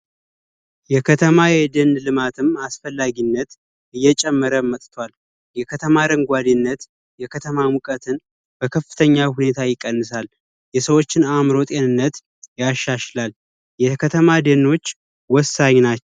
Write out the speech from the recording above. የከተማ ኤጀን ልማትን አስፈላጊነት እየጨመረ መጥቷል የከተማረን ጓዴነት የከተማ ሙቀትን በከፍተኛ ሁኔታ ይቀንሳል የሰዎችን አእምሮ ጤንነት ያሻችላል የተከተማ ዴሞክራሲ ወሳኝ ናቸው